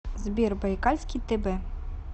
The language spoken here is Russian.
сбер байкальский тб